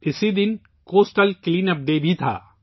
اس دن coastal clean up day بھی تھا